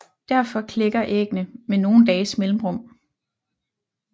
Derfor klækker æggene med nogle dages mellemrum